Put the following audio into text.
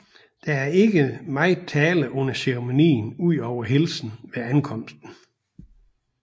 Der er ikke meget tale under ceremonien udover hilsen ved ankomsten